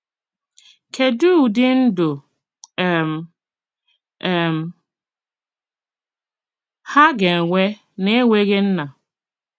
Kedu ụdị ndụ um um ha ga-enwe n'enweghị nna?